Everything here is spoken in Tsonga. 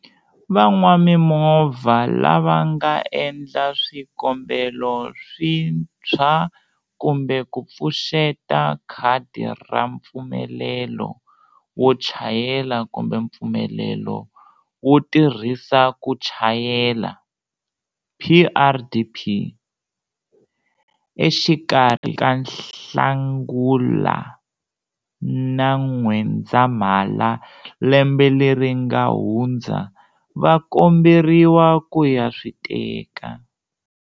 Van'wamimovha lava nga endla swikombelo swintshwa kumbe ku pfuxeta khadi ra mpfumelelo wo chayela kumbe mpfumelelo wo tirhisa ku chayela, PrDP, exikarhi ka Nhlangula na N'wendzamhala lembe leri nga hundza va komberiwa ku ya swi teka.